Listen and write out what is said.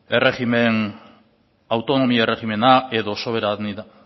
autonomia erregimena edo soberania